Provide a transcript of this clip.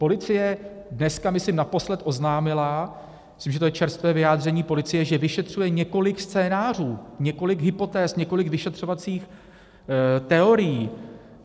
Policie dneska, myslím, naposled oznámila - myslím, že to je čerstvé vyjádření policie - že vyšetřuje několik scénářů, několik hypotéz, několik vyšetřovacích teorií.